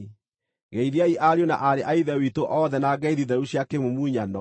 Geithiai ariũ na aarĩ a Ithe witũ othe na ngeithi theru cia kĩmumunyano.